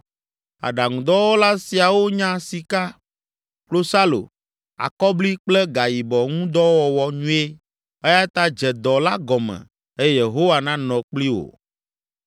Aɖaŋudɔwɔla siawo nya sika, klosalo, akɔbli kple gayibɔ ŋu dɔ wɔwɔ nyuie eya ta dze dɔ la gɔme eye Yehowa nanɔ kpli wo.”